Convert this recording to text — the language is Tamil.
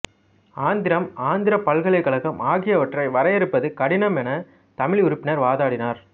ஆந்திரம் ஆந்திரப் பலகலைக்கழகம் ஆகியவற்றை வரையறுப்பது கடினமெனத் தமிழ் உறுப்பினர் வாதிட்டனர்